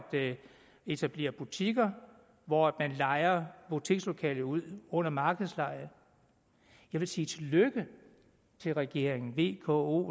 etablere butikker hvor man lejer butikslokalet ud under markedsleje jeg vil sige tillykke til regeringen v k o